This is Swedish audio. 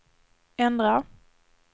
ändra